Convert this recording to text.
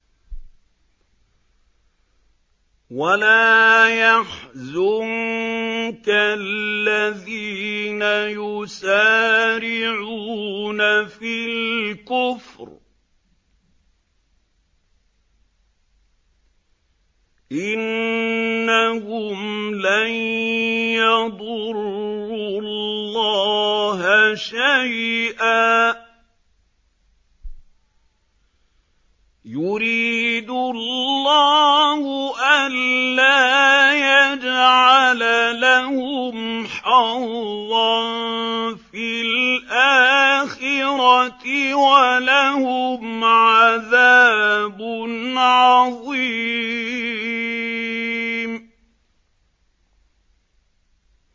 وَلَا يَحْزُنكَ الَّذِينَ يُسَارِعُونَ فِي الْكُفْرِ ۚ إِنَّهُمْ لَن يَضُرُّوا اللَّهَ شَيْئًا ۗ يُرِيدُ اللَّهُ أَلَّا يَجْعَلَ لَهُمْ حَظًّا فِي الْآخِرَةِ ۖ وَلَهُمْ عَذَابٌ عَظِيمٌ